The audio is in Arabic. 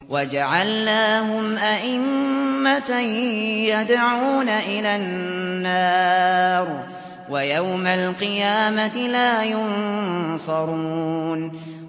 وَجَعَلْنَاهُمْ أَئِمَّةً يَدْعُونَ إِلَى النَّارِ ۖ وَيَوْمَ الْقِيَامَةِ لَا يُنصَرُونَ